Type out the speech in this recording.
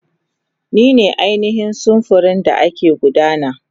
Ni ne ainihin samfurin da ke gudana.